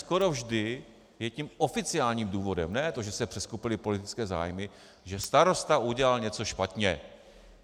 Skoro vždy je tím oficiálním důvodem ne to, že se přeskupily politické zájmy, že starosta udělal něco špatně.